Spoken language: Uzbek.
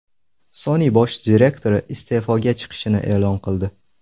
Sony bosh direktori iste’foga chiqishini e’lon qildi.